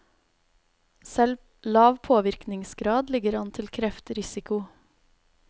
Selv lav påvirkningsgrad ligger an til kreftrisiko.